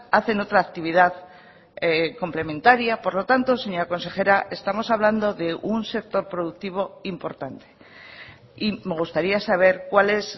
hacen otra actividad complementaria por lo tanto señora consejera estamos hablando de un sector productivo importante y me gustaría sabercuál es